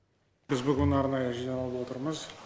біз бүгін арнайы жиналып отырмыз